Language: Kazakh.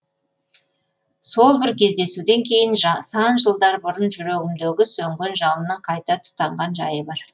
сол бір кездесуден кейін сан жылдар бұрын жүрегімдегі сөнген жалынның қайта тұтанған жайы бар